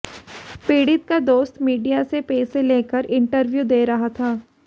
पीड़ित का दोस्त मीडिया से पैसे लेकर इंटरव्यू दे रहा था